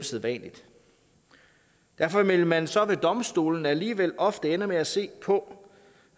sædvanligt derfor ville man så ved domstolene alligevel ofte ende med at se på